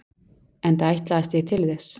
Enda ætlaðist ég til þess.